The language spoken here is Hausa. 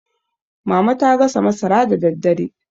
mama ta gasa masara da daddare